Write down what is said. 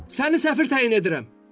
Səni səfir təyin edirəm!